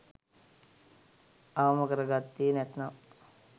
අවම කර ගත්තේ නැත්නම්